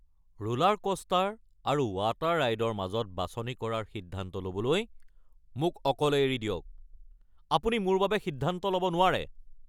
Roller coaster আৰু water ৰাইডৰ মাজত বাছনি কৰাৰ সিদ্ধান্ত ল’বলৈ মোক অকলে এৰি দিয়ক, আপুনি মোৰ বাবে সিদ্ধান্ত ল'ব নোৱাৰে। (জ্যেষ্ঠ পুত্ৰ)